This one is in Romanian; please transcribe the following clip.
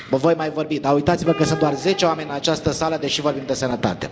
Voi mai vorbi, dar uitați vă că sunt doar zece oameni în această sală deși vorbim de sănătate.